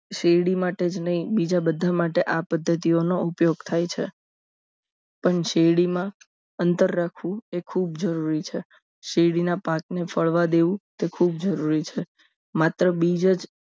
શેરડી માટે જ નહીં બીજા બધા માટે આ પદ્ધતિઓનો ઉપયોગ થાય છે પણ શેરડીમાં અંતર રાખવું એ ખૂબ જરૂરી છે શેરડીના પાકને ફળવા દેવું તે ખૂબ જરૂરી છે માત્ર બીજ જ